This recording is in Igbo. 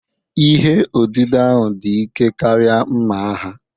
Ihe odide ahụ dị ike karịa mma agha